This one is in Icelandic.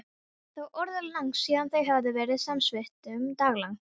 Það var orðið langt síðan þau höfðu verið samvistum daglangt.